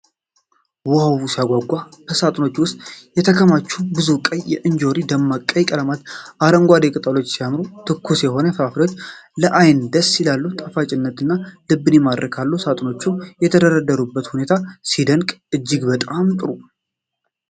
ዋው ሲያጓጓ! በሳጥኖች ውስጥ የተከማቹ ብዙ ቀይ እንጆሪዎች! ደማቅ ቀይ ቀለማቸውና አረንጓዴ ቅጠሎቻቸው ሲያምሩ! ትኩስ የሆኑ ፍራፍሬዎች ለዓይን ደስ ይላሉ። ጣፋጭነታቸው ልብን ይማርካል። ሳጥኖቹ የተደረደሩበት ሁኔታ ሲደነቅ! እጅግ በጣም ጥሩ!